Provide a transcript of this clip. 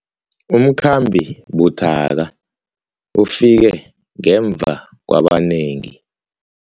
Umkhambi buthaka ufike ngemva kwabanengi.